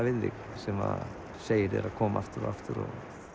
við þig sem segir þér að koma aftur og aftur